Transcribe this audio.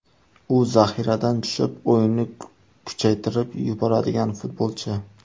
U zaxiradan tushib, o‘yinni kuchaytirib yuboradigan futbolchi.